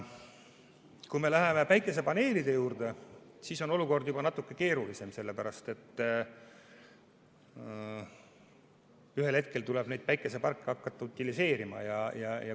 Kui me läheme päikesepaneelide juurde, siis on olukord juba natuke keerulisem, sest ühel hetkel tuleb neid päikeseparke hakata utiliseerima.